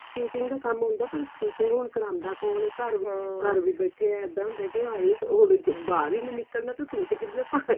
stitching ਦਾ ਕੰਮ ਆਉਂਦਾ ਪਰ stitching ਹੁਣ ਕਰਾਉਂਦਾ ਕੋਣ ਏ ਘਰ ਹੁਣ ਘਰ ਵੀ ਬੈਠੇ ਇੱਦਾਂ ਹੁੰਦਾ ਕੀ ਹਾਈ ਉਹ ਬਾਹਰ ਹੀ ਨਿਕਲਦਾ ਤੇ suite ਕਿੰਨੇ ਪਾਨੇ